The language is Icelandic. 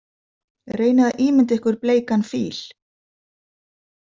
Reynið að ímynda ykkur bleikan fíl.